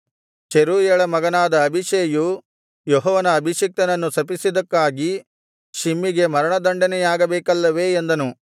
ಚೆರೂಯಳ ಮಗನಾದ ಅಬೀಷೈಯು ಯೆಹೋವನ ಅಭಿಷಿಕ್ತನನ್ನು ಶಪಿಸಿದ್ದಕ್ಕಾಗಿ ಶಿಮ್ಮಿಗೆ ಮರಣದಂಡನೆಯಾಗಬೇಕಲ್ಲವೇ ಎಂದನು